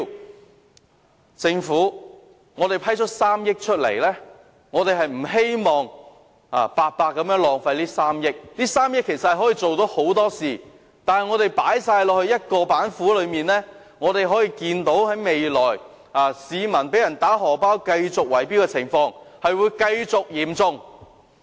我們向政府批出3億元的撥款，不希望這些金錢白白浪費，這3億元可以做到很多事情，但如果全部用於一道板斧，可以預見，未來市民被人透過圍標"打荷包"的情況將會持續嚴重。